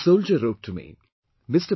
A soldier wrote to me Mr